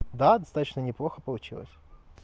да достаточно неплохо получилось